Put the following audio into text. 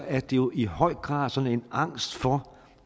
er det jo i høj grad sådan en angst for